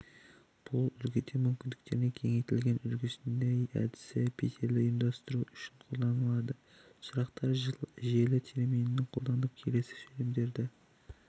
бұл үлгіде мүмкіндіктері кеңейтілген үлгісінде әдісі петельді ұйымдастыру үшін қолданылады сұрақтар желі терминін қолданып келесі сөйлемдерді